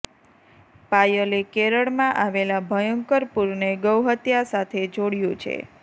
પાયલે કેરળમાં આવેલા ભયંકર પૂરને ગૌહત્યા સાથે જોડ્યું છે